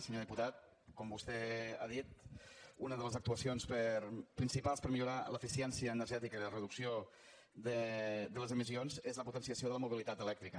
senyor diputat com vostè ha dit una de les actuacions principals per a millorar l’eficiència energètica i la reducció de les emissions és la potenciació de la mobilitat elèctrica